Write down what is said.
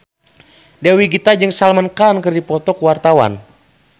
Dewi Gita jeung Salman Khan keur dipoto ku wartawan